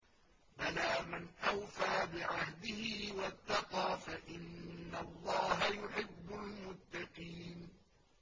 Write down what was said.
بَلَىٰ مَنْ أَوْفَىٰ بِعَهْدِهِ وَاتَّقَىٰ فَإِنَّ اللَّهَ يُحِبُّ الْمُتَّقِينَ